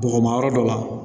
Bɔgɔmayɔrɔ dɔ la